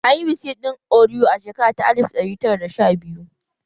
An yi biskit ɗin oriyo a shekara ta alif ɗari tara da sha biyu